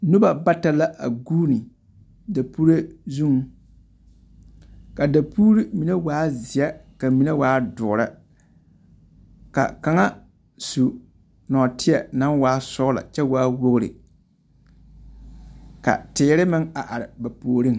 Noba bata la a guuni dapuree zuŋ. Ka a dapuuri mine waa zeԑ ka mine waa dõõre. Ka kaŋa su nͻͻteԑ naŋ waa sͻgelͻ kyԑ waa wogiri. Ka teere meŋ a are ba puoriŋ.